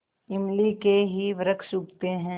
इमली के ही वृक्ष उगते हैं